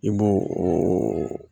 I b'o o